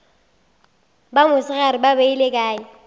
ba mosegare ba beile kae